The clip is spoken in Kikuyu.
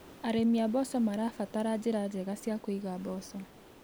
Arĩmi a mboco marabatara njĩra njega cia kũiga mboco.